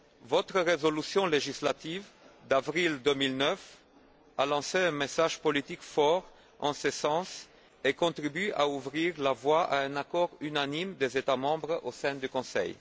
Votre résolution législative d'avril 2009 a lancé un message politique fort en ce sens et a contribué à ouvrir la voie à un accord unanime des États membres au sein du Conseil.